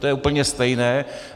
To je úplně stejné.